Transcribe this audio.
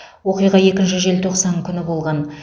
оқиға екінші желтоқсан күні болған